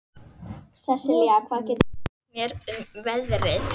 Sesilía, hvað geturðu sagt mér um veðrið?